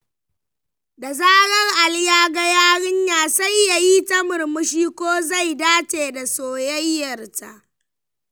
Da zarar Ali yaga yarinya, sai yayi ta murmushi ko zai dace da soyayyarta.